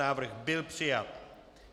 Návrh byl přijat.